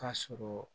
Ka sɔrɔ